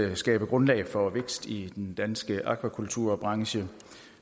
at skabe grundlag for vækst i den danske akvakulturbranche